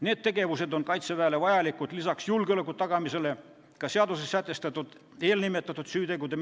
Need tegevused on Kaitseväele vajalikud peale julgeoleku tagamise ka selleks, et menetleda seaduses sätestatud eelnimetatud süütegusid.